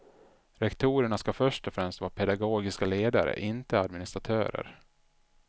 Rektorerna ska först och främst vara pedagogiska ledare, inte administratörer.